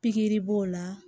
Pikiri b'o la